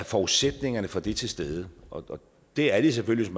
forudsætningerne for det er til stede og det er de selvfølgelig